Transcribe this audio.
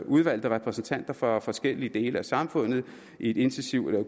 udvalgte repræsentanter for forskellige dele af samfundet i et intensivt